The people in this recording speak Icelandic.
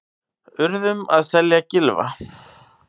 Urðum að selja Gylfa